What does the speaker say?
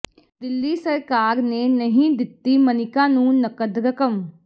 ਦਿੱਲੀ ਸਰਕਾਰ ਨੇ ਨਹੀਂ ਦਿੱਤੀ ਮਨਿਕਾ ਨੂੰ ਨਕਦ ਰਕਮ